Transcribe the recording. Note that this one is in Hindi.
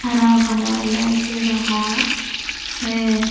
हरा-भरा लग रहा है।